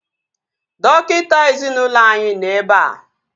Dọkịta ezinaụlọ anyị nọ ebea